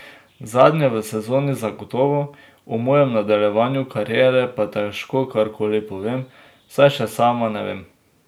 Zadnja v sezoni zagotovo, o mojem nadaljevanju kariere pa težko kar koli povem, saj še sama ne vem.